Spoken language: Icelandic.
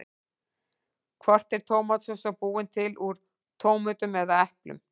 Hvort er tómatsósa búin til úr tómötum eða eplum?